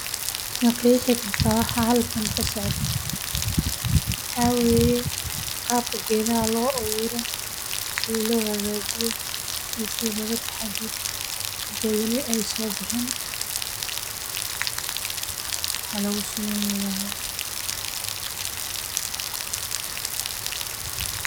Ma qeexi kartaa waxa halkan kasocdo waxa waye waqtiga safarka suuqa ee bankiga wuxuuna siinaya adeegsadaha amni iyo xasilooni.